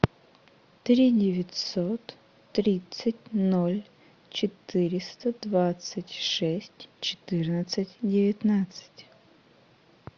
три девятьсот тридцать ноль четыреста двадцать шесть четырнадцать девятнадцать